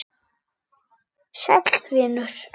Sæll vinur